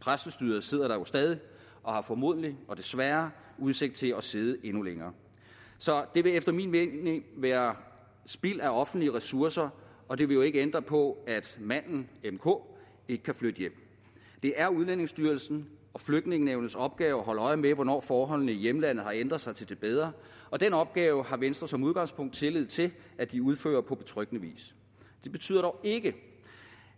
præstestyret sidder der jo stadig og har formodentlig og desværre udsigt til at sidde endnu længere så det vil efter min mening være spild af offentlige ressourcer og det vil jo ikke ændre på at manden mk ikke kan flytte hjem det er udlændingestyrelsens og flygtningenævnets opgave at holde øje med hvornår forholdene i hjemlandet har ændret sig til det bedre og den opgave har venstre som udgangspunkt tillid til at de udfører på betryggende vis det betyder dog ikke